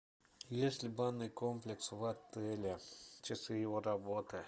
есть ли банный комплекс в отеле часы его работы